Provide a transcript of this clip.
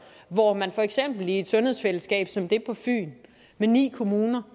på at man for eksempel i et sundhedsfællesskab som det på fyn med ni kommuner